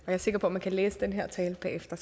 jeg er sikker på at man kan læse den her tale bagefter